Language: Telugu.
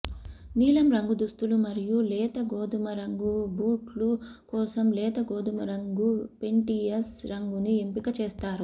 నీలం రంగు దుస్తులు మరియు లేత గోధుమ రంగు బూట్లు కోసం లేత గోధుమరంగు పెంటియస్ రంగును ఎంపిక చేస్తారు